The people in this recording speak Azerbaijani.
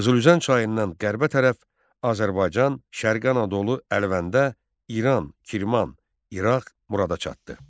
Qızılüzən çayından qərbə tərəf Azərbaycan, Şərqi Anadolu Əlvəndə, İran, Kirman, İraq Murada çatdı.